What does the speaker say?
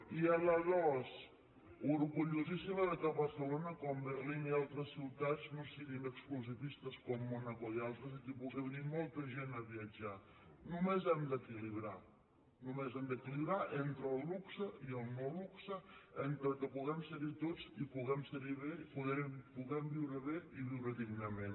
i a la dos orgullosíssima que barcelona com berlín i altres ciutats no siguin exclusivistes com mònaco i al·tres i que hi pugui venir molta gent a viatjar només ho hem d’equilibrar només hem d’equilibrar entre el lu·xe i el no·luxe entre que puguem ser·hi tots i puguem ser·hi bé puguem viure bé i viure dignament